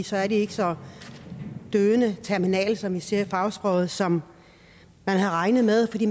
så er de ikke så døende terminale som vi siger i fagsproget som man havde regnet med fordi